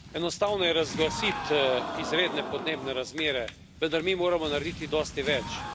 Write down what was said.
Enostavno je razglasiti izredne podnebne razmere, vendar mi moramo narediti dosti več.